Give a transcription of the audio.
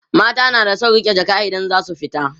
mata na da San riƙe Jaka idan zasu fita